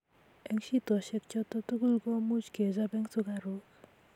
eng shidoshiek choto tugul ko much kechab eng sukaruk